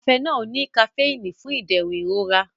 Cafenol ní kafíìnì fún ìdẹ̀rùn ìrora.